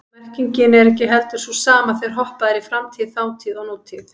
Það er bara þess vegna.